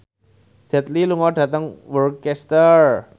Jet Li lunga dhateng Worcester